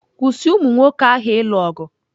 Kwụsị umụ nwoke ahụ ịlụ ọgụ!